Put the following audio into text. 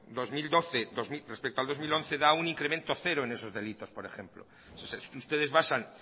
dos mil doce respecto al dos mil once da un incremento cero en esos delitos por ejemplo si ustedes basan